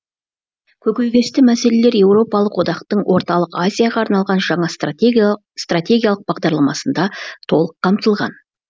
көкейтесті мәселелер еуропалық одақтың орталық азияға арналған жаңа стратегиялық бағдарламасында толық қамтылған